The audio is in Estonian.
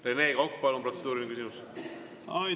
Rene Kokk, palun, protseduuriline küsimus!